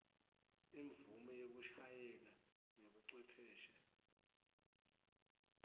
imvumo yekushayela ngebucwepheshe